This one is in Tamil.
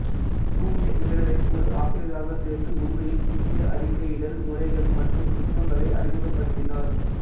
சூனியர் விகடனில் ஒரு ஆசிரியராக சேர்ந்து உண்மையில் புதிய அறிக்கையிடல் முறைகள் மற்றும் நுட்பங்களை அறிமுகப்படுத்தினார்